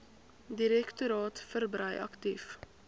direktoraat verbrei aktief